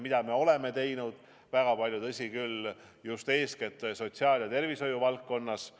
Seda me oleme teinud väga palju, tõsi küll, eeskätt sotsiaal- ja tervishoiu valdkonnas.